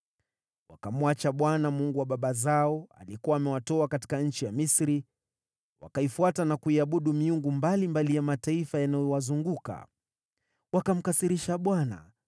Wakamwacha Bwana , Mungu wa baba zao, aliyekuwa amewatoa katika nchi ya Misri. Wakaifuata na kuiabudu miungu mbalimbali ya mataifa yanayowazunguka. Wakamkasirisha Bwana ,